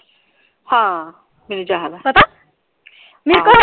ਹਾਂ ਮੈਨੂੰ ਯਾਦ ਆ ਪਤਾ .